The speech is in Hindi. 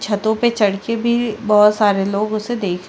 छतो पे चढ़के भी बहोत सारे लोग उसे देख रहे --